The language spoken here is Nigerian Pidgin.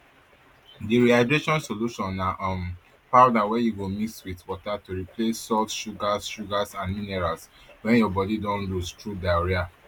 di rehydration solution na um powder wey you go mix wit water to replace salts sugars sugars and minerals wey your bodi don lose through diarrhoea